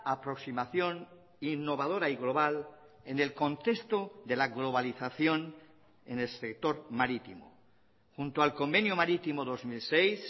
aproximación innovadora y global en el contexto de la globalización en el sector marítimo junto al convenio marítimo dos mil seis